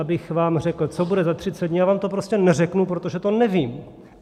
Abych vám řekl, co bude za 30 dní, já vám to prostě neřeknu, protože to nevím.